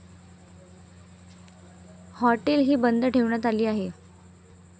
Hotel ही बंद ठेवण्यात आले आहे.